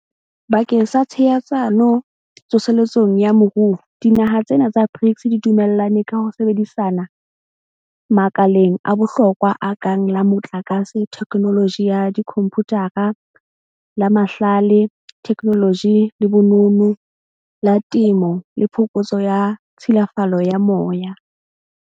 Bakeng sa tshehetsano tso seletsong ya moruo, dinaha tsena tsa BRICS di dumellane ka ho sebedisana makaleng a bohlokwa a kang la motlakase, thekenoloji ya dikhomputara, la mahlale, thekenoloji le bonono, la temo le phokotso ya tshilafalo ya moya.